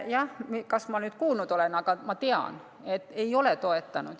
Kas ma kuulnud olen, aga ma tean, et valitsus ei ole toetanud.